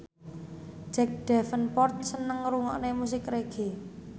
Jack Davenport seneng ngrungokne musik reggae